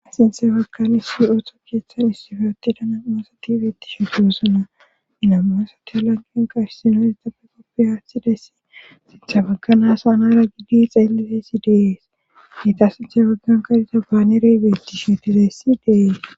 Iinthe bagkan issi ooththo keeththan issife ote da namoosa tibetishu tuusana inamoosati lanqen qaishsino etappe qoppi haathidessi sintha bagganaasa anara gidi xeellifessi deees giita sinthay baggan kariza baanerey bettishtizessi deees.